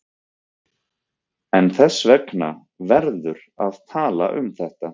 En þess vegna verður að tala um þetta.